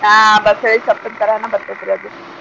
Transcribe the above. ಹಾ ಬಸಳಿ ಸೊಪ್ಪಿನ್ ತಾರಾನ ಬರ್ತೇತ್ ರೀ ಅದು.